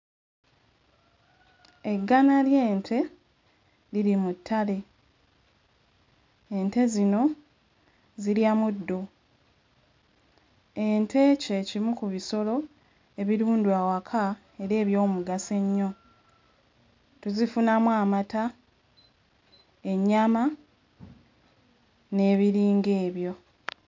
Eggana ly'ente liri mu ttale. Ente zino zirya muddo. Ente kye kimu ku bisoro ebirundwa awaka era eby'omugaso ennyo. Tuzifunamu amata, ennyama, n'ebiringa ebyo.